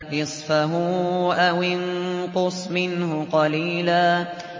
نِّصْفَهُ أَوِ انقُصْ مِنْهُ قَلِيلًا